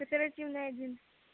кооперативная один